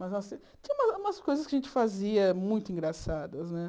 Mas nós tinha umas umas coisas que a gente fazia muito engraçadas, né?